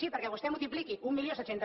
sí perquè vostè multipliqui mil set cents